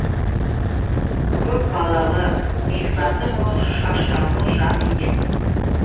көп балалы мехнаты мол шаршаулы жан екен